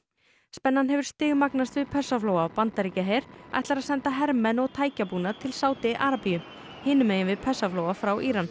spennan hefur stigmagnast við Persaflóa bandaríski herinn ætlar að senda hermenn og tækjabúnað til Sádi Arabíu hinum megin við Persaflóa frá Íran